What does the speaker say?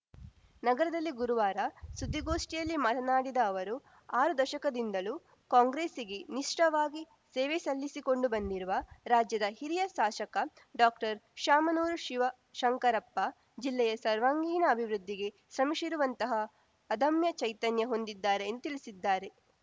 ನಗರದಲ್ಲಿ ಗುರುವಾರ ಸುದ್ದಿಗೋಷ್ಠಿಯಲ್ಲಿ ಮಾತನಾಡಿದ ಅವರು ಆರು ದಶಕದಿಂದಲೂ ಕಾಂಗ್ರೆಸ್ಸಿಗೆ ನಿಷ್ಠವಾಗಿ ಸೇವೆ ಸಲ್ಲಿಸಿಕೊಂಡು ಬಂದಿರುವ ರಾಜ್ಯದ ಹಿರಿಯ ಶಾಸಕ ಡಾಕ್ಟರ್ಶಾಮನೂರು ಶಿವಶಂಕರಪ್ಪ ಜಿಲ್ಲೆಯ ಸರ್ವಾಂಗೀಣ ಅಭಿವೃದ್ಧಿಗೆ ಶ್ರಮಿಸಿರುವಂತಹ ಅದಮ್ಯ ಚೈತನ್ಯ ಹೊಂದಿದ್ದಾರೆ ಎಂದು ತಿಳಿಸಿದ್ದಾರೆ